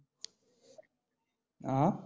अं?